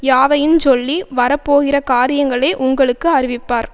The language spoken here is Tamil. யாவையுஞ்சொல்லி வரப்போகிற காரியங்களை உங்களுக்கு அறிவிப்பார்